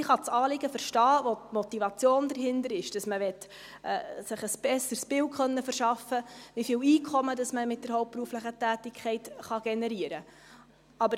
Ich kann das Anliegen verstehen, die Motivation, die dahinter ist, dass man sich ein besseres Bild verschaffen möchte, wie viel Einkommen man mit der hauptberuflichen Tätigkeit generieren kann.